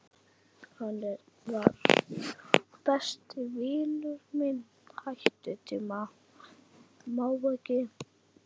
Hann var. besti vinur minn.